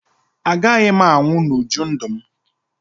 Agaghị m anwụ n'uju ndụ m